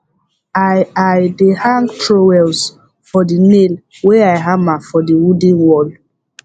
i i dey hang trowels for the nail wey i hammer for the wooden wall